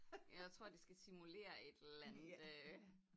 Jeg tror de skal simulere et eller andet øh